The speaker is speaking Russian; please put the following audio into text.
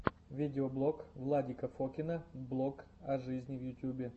видеоблог владика фокина блог о жизни в ютубе